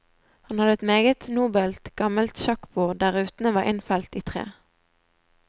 Han hadde et meget nobelt gammelt sjakkbord der rutene var innfelt i tre.